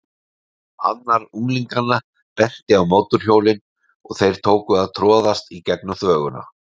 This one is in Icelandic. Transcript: Annar unglinganna benti á mótorhjólin og þeir tóku að troðast í gegnum þvöguna.